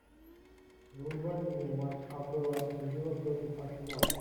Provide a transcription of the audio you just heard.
врубай мне матч апл астон вилла против арсенала